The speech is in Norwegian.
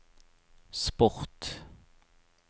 sport